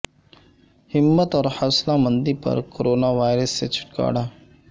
ہمت اور حوصلہ مندی پر کورونا وائرس سے چھٹکارا